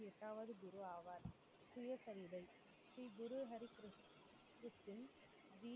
எட்டாவது குரு ஆவார் சுயசரிதை ஸ்ரீ குரு ஹரி கிருஷ்~ கிருஷ்ண்